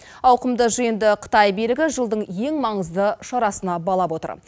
ауқымды жиынды қытай билігі жылдың ең маңызды шарасына балап отыр